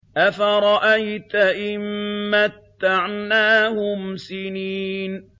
أَفَرَأَيْتَ إِن مَّتَّعْنَاهُمْ سِنِينَ